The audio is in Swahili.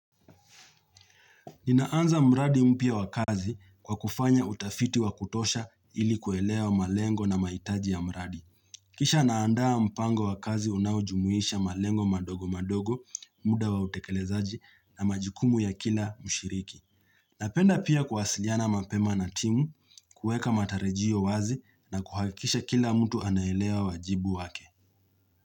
Ninaanza mradi mpia wakazi kwa kufanya utafiti wakutosha ili kuelea malengo na maitaji ya mradi. Kisha naandaa mpango wakazi unaujumuisha malengo madogo madogo, muda wautekelezaji na majikumu ya kila mushiriki. Napenda pia kwasiliana mapema na timu, kueka matarejiyo wazi na kuhakisha kila mtu anaelea wajibu wake.